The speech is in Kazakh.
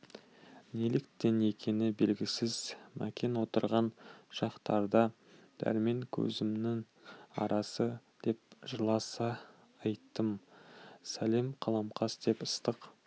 неліктен екені белгісіз мәкен отырған шақтарда дәрмен көзімнің қарасы деп жырласа айттым сәлем қаламқас деп ыстық